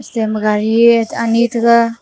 cha ma gari anyi taga.